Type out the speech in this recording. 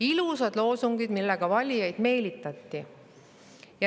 Ilusad loosungid, millega valijaid meelitati.